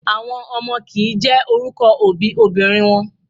Àwọn ọmọ kìí jẹ́ orúkọ òbí obìnrin wọn.